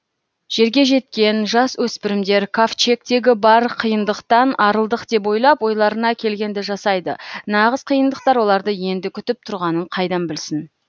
жерге жеткен жасөспірімдер кавчегтегі бар қиындықтан арылдық деп ойлап ойларына келгенді жасайды нағыз қиындықтар оларды енді күтіп тұрғанын қайдан білсін